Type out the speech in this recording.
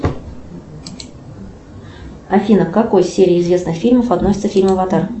афина к какой серии известных фильмов относится фильм аватар